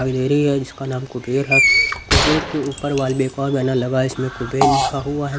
अभी देरी है जिसका नाम कुबेर है कुबेर के ऊपर वॉलपेपर बना लगा इस पर कुबेर लिखा हुआ है।